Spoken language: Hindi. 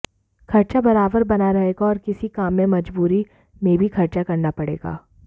खर्चा बराबर बना रहेगा और किसी काम में मजबूरी में भी खर्चा करना पड़ेगा